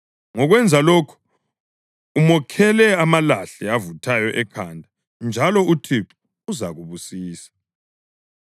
Ngokwenza lokho, umokhela amalahle avuthayo ekhanda, njalo uThixo uzakubusisa.